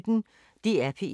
DR P1